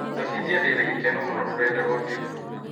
Cabithia ndĩ na gĩkeno mũno rũrenda rũa facebook